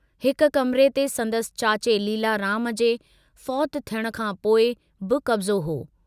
हिक कमरे ते संदसि चाचे लीलाराम जे फौतु थियण खां पोइ बि कब्जो हो।